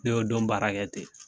Ne y'o don baara kɛ ten.